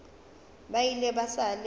ba ile ba sa le